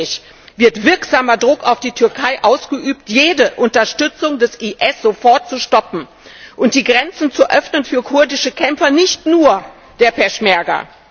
Wann endlich wird wirksamer Druck auf die Türkei ausgeübt, jede Unterstützung des IS sofort zu stoppen und die Grenzen zu öffnen für kurdische Kämpfer, nicht nur der Peschmerga?